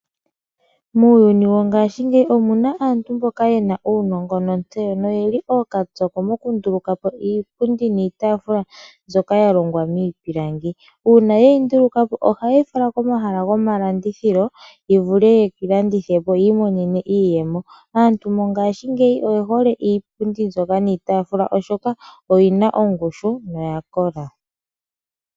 Muuyuni wongashingeyi omu na aantu mboka ye na uunongo ontseyo, noye li ookapyoko mokunduluka po iipundi niitaafula mbyoka ya longwa miipilangi. Uuna ye yi nduluka po ohaye yi fala komahala gomalandithilo ya vule okuyi landitha po yi imonene iiyemo. Aantu mongashingeyi oye hole iipundi mbyoka niitaafula, oshoka oya kola.